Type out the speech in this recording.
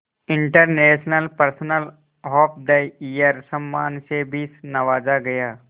international person of the year सम्मान से भी नवाजा गया